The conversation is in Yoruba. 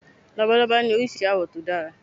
Labalábá ní Oríṣiríṣi àwọ̀ tó dára.